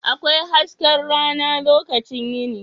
Akwai hasken rana lokacin yini.